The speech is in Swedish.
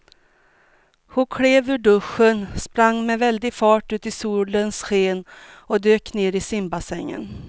Hon klev ur duschen, sprang med väldig fart ut i solens sken och dök ner i simbassängen.